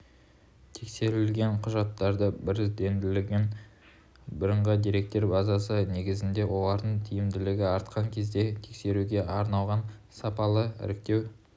тексеру құжаттары біріздендірілген бірыңғай деректер базасы негізінде олардың тиімділігі артқан кезде тексеруге арналған сапалы іріктеу